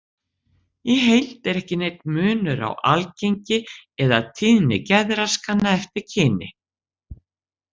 Í heild er ekki neinn munur á algengi eða tíðni geðraskana eftir kyni.